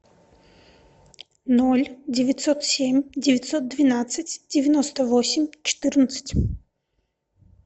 ноль девятьсот семь девятьсот двенадцать девяносто восемь четырнадцать